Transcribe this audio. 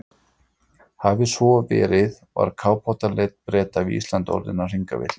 Hafi svo verið, var kafbátaleit Breta við Ísland orðin að hringavitleysu.